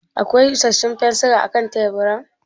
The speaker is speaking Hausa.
Akwai isarsun fensira a kan teburin?